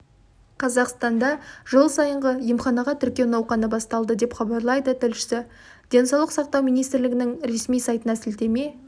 қазақстанда жыл сайынғы емханаға тіркеу науқаны басталды деп хабарлайды тілшісі денсаулық сақтау министрлігінің ресми сайтына сілтеме